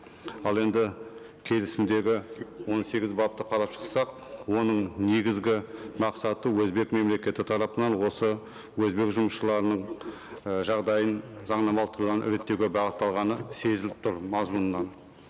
ал енді келісімдегі он сегіз бапты қарап шықсақ оның негізгі мақсаты өзбек мемлекеті тарапынан осы өзбек жұмысшыларының і жағдайын заңнамалық тұрғыдан реттеуге бағытталғаны сезіліп тұр мазмұнынан